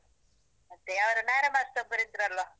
ಮತ್ತೇ, ಅವ್ರು ನಾರಾಯಣ್ master ಒಬ್ಬರಿದ್ರಲ್ವಾ?